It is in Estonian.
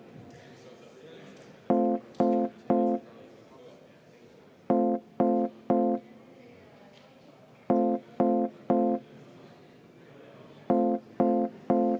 Head kolleegid, asume lõpphääletuse juurde.